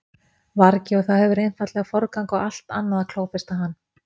vargi og það hefur einfaldlega forgang á allt annað að klófesta hann.